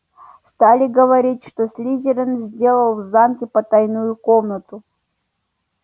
стали говорить что слизерин сделал в замке потайную комнату